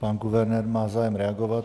Pan guvernér má zájem reagovat.